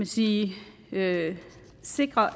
sige at sikre